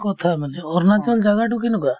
কথা মানে অৰুণাচল জাগাতো কেনেকুৱা ?